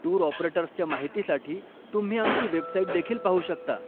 Tour ऑपरेटर्सच्या माहितीसाठी तुम्ही आमची वेबसाइट देखील पाहू शकता.